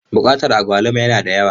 Bukatar agwaluma yana da yawa.